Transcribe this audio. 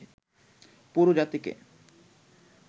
পুরো জাতিকে